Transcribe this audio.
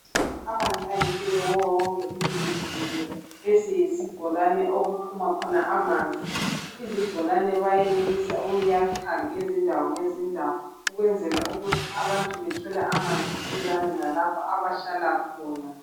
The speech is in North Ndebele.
Amanzi ayimpilo kuwo wonke umuntu jikelele. Lesi yisibholane okuphuma khona amanzi. Izibholane bayenelisa ukuyakha ngezindawo ngezindawo ukwenzela ukuthi abantu bethole amanzi duzane lalapho abahlala khona.